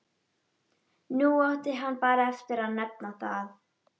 Nú átti hann bara eftir að nefna það.